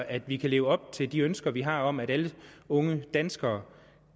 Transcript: at vi kan leve op til de ønsker vi har om at alle unge danskere